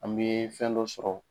An bɛ fɛn dɔ sɔrɔ